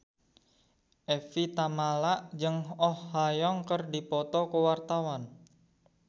Evie Tamala jeung Oh Ha Young keur dipoto ku wartawan